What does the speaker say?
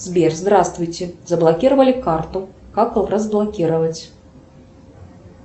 сбер здравствуйте заблокировали карту как разблокировать